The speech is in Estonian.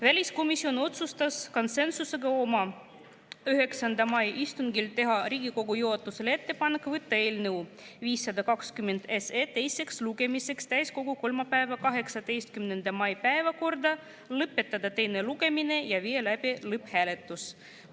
Väliskomisjon otsustas konsensusega oma 9. mai istungil teha Riigikogu juhatusele ettepaneku võtta eelnõu 520 teiseks lugemiseks täiskogu kolmapäeva, 18. mai päevakorda, lõpetada teine lugemine ja viia läbi lõpphääletus.